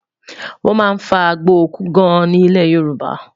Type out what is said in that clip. wón má fà àgbò òkú gaan ní ilẹ yorùbá